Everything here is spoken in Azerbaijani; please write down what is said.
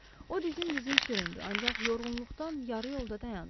O dizin-dizin süründü, ancaq yorğunluqdan yarı yolda dayandı.